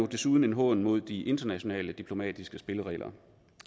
desuden en hån mod de internationale diplomatiske spilleregler